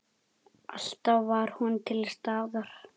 Alltaf var hún til staðar.